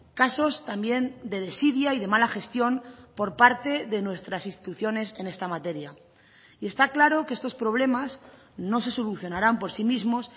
casos también de desidia y de mala gestión por parte de nuestras instituciones en esta materia y está claro que estos problemas no se solucionarán por sí mismos